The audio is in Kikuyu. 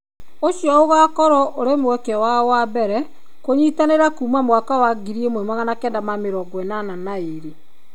Ũcio ũgaakorũo ũrĩ mweke wao wa mbere kũnyitanĩra kuuma mwaka wa 1982.